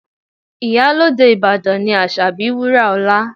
Iyalode Ìbàdàn ni Asabi Wuraola